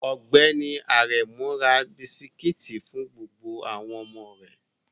Ọgbẹni Aremu ra bisikiti fun gbogbo awon omo re